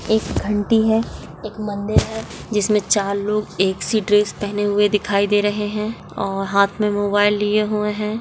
एक घंटी है एक मंदिर है जिसमे चार लोग एक सी ड्रेस पहने हुए दिखाई दे रहे है और हाथ में मोबाइल लिए हुए है।